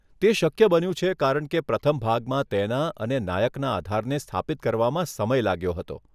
તે શક્ય બન્યું છે કારણ કે પ્રથમ ભાગમાં તેના અને નાયકના આધારને સ્થાપિત કરવામાં સમય લાગ્યો હતો.